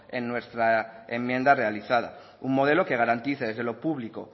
en nuestra enmienda realizada un modelo que garantice desde lo público